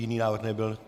Jiný návrh nebyl.